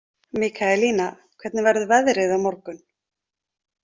Mikaelína, hvernig verður veðrið á morgun?